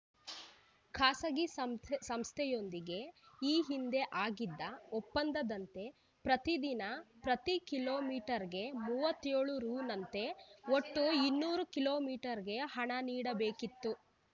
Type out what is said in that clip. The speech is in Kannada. ಖಾಸಗಿ ಸಂ ಸಂಸ್ಥೆಯೊಂದಿಗೆ ಈ ಹಿಂದೆ ಆಗಿದ್ದ ಒಪ್ಪಂದದಂತೆ ಪ್ರತಿದಿನ ಪ್ರತಿ ಕಿಲೋ ಮೀಟರ್ಗೆ ಮೂವತ್ಯೋಳು ರೂನಂತೆ ಒಟ್ಟು ಇನ್ನೂರು ಕಿಲೋ ಮೀಟರ್ಗೆ ಹಣ ನೀಡಬೇಕಿತ್ತು